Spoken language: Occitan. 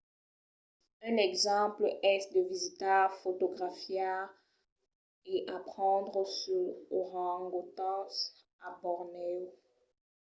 un exemple es de visitar fotografiar e aprendre suls orangotangs a bornèo